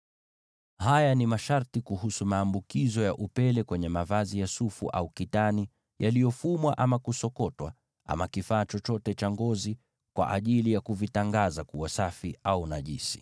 Haya ni masharti kuhusu maambukizo ya upele kwenye mavazi ya sufu au kitani, yaliyofumwa ama kusokotwa, ama kifaa chochote cha ngozi, kwa ajili ya kuvitangaza kuwa safi au najisi.